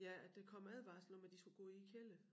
Ja at der kom advarsler om at de skulle gå i æ kælder